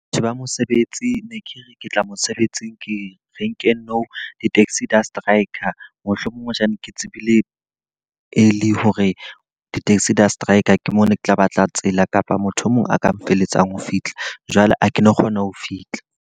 Batho ba mosebetsi, ne ke re ke tla mosebetsing ke renkeng nou. Di-taxi di a strike, mohlomong hoja ne ke tsebile early hore di-taxi di a strike. Ke mo no ke tla batla tsela kapa motho e mong a ka nfeletsang ho fitlha. Jwale ha ke no kgona ho fihla.